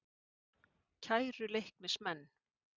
Kæru Leiknismenn.